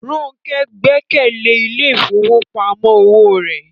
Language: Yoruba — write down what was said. Ronke gbẹ́kẹ̀lé ilé ìfowópamọ́ òwò rẹ̀